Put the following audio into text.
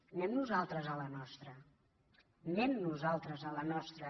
anem nosaltres a la nostra anem nosaltres a la nostra